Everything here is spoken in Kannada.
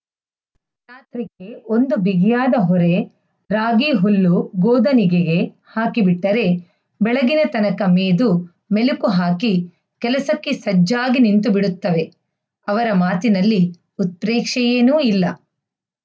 ಒಂದು ಬಿಗಿಯಾದಹೊರೆ ರಾಗಿಹುಲ್ಲು ಗೋದನಿಗೆಗೆ ಹಾಕಿಬಿಟ್ಟರೆ ಬೆಳಗಿನತನಕ ಮೇದು ಮೆಲಕುಹಾಕಿ ಕೆಲಸಕ್ಕೆ ಸಜ್ಜಾಗಿ ನಿಂತುಬಿಡ್ತವೆ ಅವರ ಮಾತಿನಲ್ಲಿ ಉತ್ಪ್ರೇಕ್ಷೆಯೇನೂ ಇಲ್ಲ